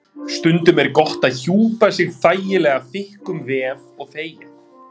Stundum er gott að hjúpa sig þægilega þykkum vef- og þegja.